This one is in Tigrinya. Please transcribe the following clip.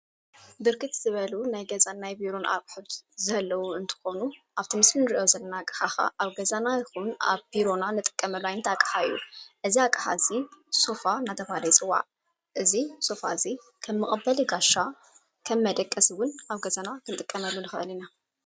ብርክት ዝበሉ ናይ ገዛናይ ብሮን ኣቕሑድ ዘለዉ እንተኾኑ ኣብትምስምንርእዮ ዘለና ገኻኻ ኣብ ገዛና ይኹን ኣብ ቢሮና ንጥቀመሉ ዓይንት ኣቂሓዩ እዝ ኣቂሓ እሲ ሶፋ ናተባለ ይጽዋዕ እዙ ሶፋ እዙይ ከም መቐበል ይጋሻ ከም መደቀስውን ኣብ ገዛና ክምጥቀመሉ ንኽእል ኢና።